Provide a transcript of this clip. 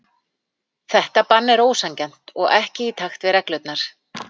Þetta bann er ósanngjarnt og ekki í takt við reglurnar.